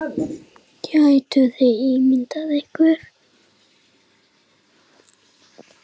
Gætuð þið ímyndað ykkur.